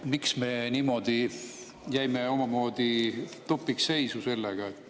Miks me jäime omamoodi tupikseisu sellega?